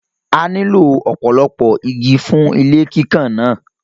A nílò ọ̀pọ̀lọpọ̀ igi fún ilé kíkàn náà